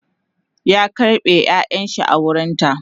ya karɓe ƴaƴanshi a wurinta